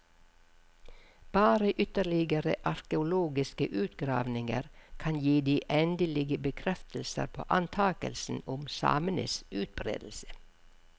Bare ytterligere arkeologiske utgravninger kan gi de de endelige bekreftelser på antakelsen om samenes utbredelse.